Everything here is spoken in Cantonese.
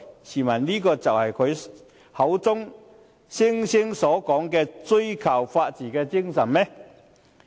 試問這是他口中所說所追求的法治精神嗎？